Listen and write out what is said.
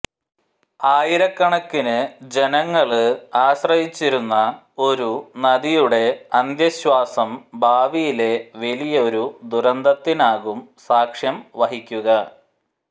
ആയിരക്കണക്കിന് ജനങ്ങള് ആശ്രയിച്ചിരുന്ന ഒരു നദിയുടെ അന്ത്യശ്വാസം ഭാവിയിലെ വലിയൊരു ദുരന്തത്തിനാകും സാക്ഷ്യം വഹിക്കുക